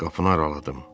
Qapını araladım.